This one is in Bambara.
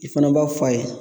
I fana b'a f'a ye